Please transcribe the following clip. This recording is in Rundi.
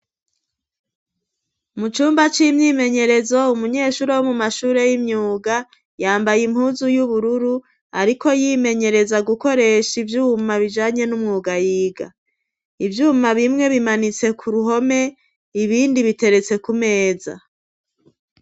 Mu cumba c'imyimenyerezo, umunyeshuri wo mu mashuri y'imyuga, yambaye impuzu y'ubururu, ariko yimenyereza gukoresha ivyuma bijanye n'umwuga yiga. Ivyuma bimwe bimanitse k'uruhome, ibindi biteretse ku meza.